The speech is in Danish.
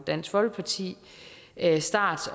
dansk folkeparti start